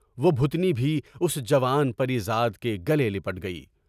وہ بھوتنی بھی اُس جوان پر یزاد کے گلے لیٹ گئی۔